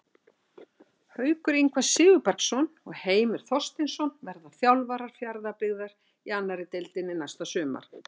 Haukur Ingvar Sigurbergsson og Heimir Þorsteinsson verða þjálfarar Fjarðabyggðar í annarri deildinni næsta sumar.